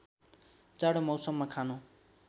जाडो मौसममा खानु